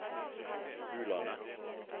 Bulandet